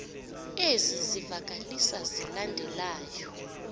ezi zivakalisi zilandelayo